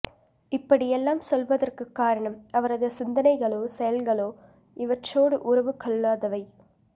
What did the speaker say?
இப்படியெல்லாம் சொல்வதற்குக் காரணம் அவரது சிந்தனைகளோ செயல்களோ இவற்றோடு உறவு கொள்ளாதவை